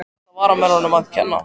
Er þetta varnarmönnunum að kenna?